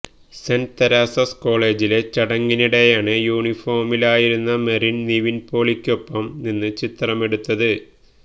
saint Teresa's കോളേജിലെ ചടങ്ങിനിടെയാണ് യൂണിഫോമിലായിരുന്ന മെറിന് നിവിന്പോളിക്കൊപ്പം നിന്ന് ചിത്രമെടുത്തത്